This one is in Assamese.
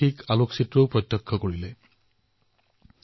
তেওঁ এখন ছবিৰ বিষয়ে জনাইছে যত পূজ্য বাপুই ৰাজেন্দ্ৰজীৰ ঘৰলৈ আহিছিল